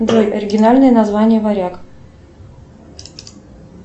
джой оригинальное название варяг